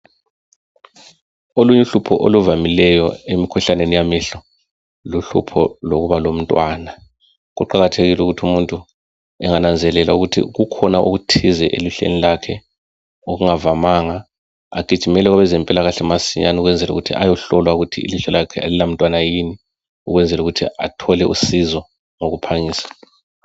Okunye uhlupho oluvamileyo emkhuhlaneni yamehlo luhlupho lokuba lomntwana kuqakathekile ukuthi umuntu engananzelela ukuthi kukhona okuthize elihlweni lakhe okungavamanga agijimele kwezempilakahle masinyane ukwenzela ukuthi ayohlolwa ukuthi ilihlo lakhe alila mntwana yini ukwenzela ukuthi athole usizo ngokuphangisa